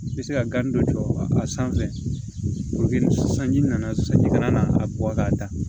I bɛ se ka gan dɔ jɔ a sanfɛ sanji nana sisan ji kana a bɔ k'a ta